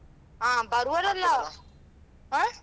ಹ ಬರುವವರೆಲ್ಲ ಆ?